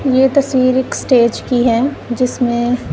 ये तस्वीर एक स्टेज की हैं जिसमें--